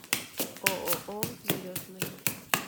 ооо взлетная